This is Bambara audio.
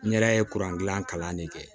N yɛrɛ ye kuran gilan kalan de kɛ